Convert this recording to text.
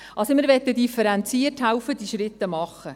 Wir möchten differenziert helfen, diese Schritte zu gehen.